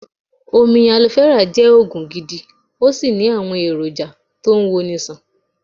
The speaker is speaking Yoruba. Omi Alofẹ́rà jẹ́ Ògùn gidi, ó sì ní àwọn èrò jà tó ń wo ni ṣàn.